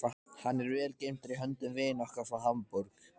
Hann er vel geymdur í höndum vina okkar frá Hamborg.